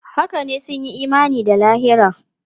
Haka ne, sun yi imani da lahira.